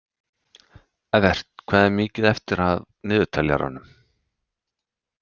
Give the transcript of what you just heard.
Evert, hvað er mikið eftir af niðurteljaranum?